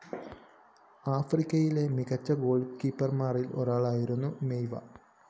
ആഫ്രിക്കയിലെ മികച്ച ഗോള്‍കീപ്പര്‍മാരില്‍ ഒരാളായിരുന്നു മെയിവ